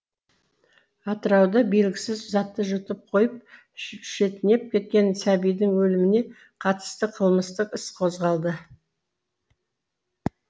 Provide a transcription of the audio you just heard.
атырауда белгісіз затты жұтып қойып шетінеп кеткен сәбидің өліміне қатысты қылмыстық іс қозғалды